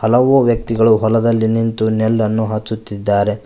ಹಲವು ವ್ಯಕ್ತಿಗಳು ಹೊಲದಲ್ಲಿ ನಿಂತು ನೆಲ್ಲನ್ನು ಹಚ್ಚುತ್ತಿದ್ದಾರೆ.